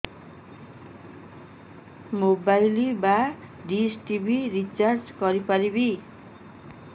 mobile ବା dish TV recharge କରି ପାରିବି